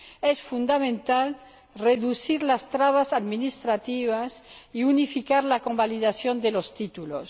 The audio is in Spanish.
Es fundamental reducir las trabas administrativas y unificar la convalidación de los títulos.